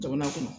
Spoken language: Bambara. Jamana kɔnɔ